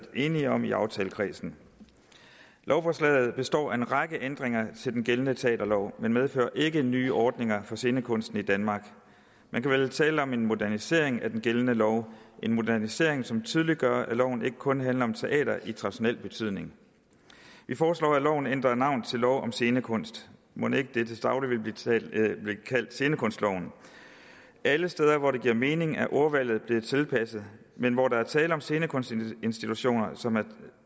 enige om i aftalekredsen lovforslaget består af en række ændringer til den gældende teaterlov men medfører ikke nye ordninger for scenekunsten i danmark man kan vel tale om en modernisering af den gældende lov en modernisering som tydeliggør at loven ikke kun handler om teater i traditionel betydning vi foreslår at loven ændrer navn til lov om scenekunst mon ikke den til daglig vil blive kaldt scenekunstloven alle steder hvor det giver mening er ordvalget blevet tilpasset men hvor der er tale om scenekunstinstitutioner som